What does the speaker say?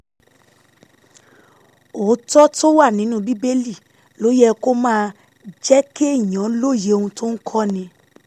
òótọ́ tó wà nínú bíbélì ló yẹ kó máa jẹ́ kéèyàn lóye ohun tó ń kọ́ni